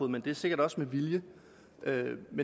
det er sikkert også med vilje